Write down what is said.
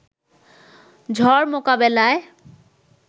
ঝড় মোকাবেলায়